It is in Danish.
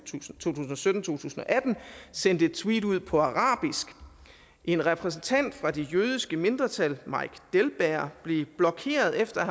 tusind og sytten sendte et tweet ud på arabisk en repræsentant for det jødiske mindretal mike delberg blev blokeret efter at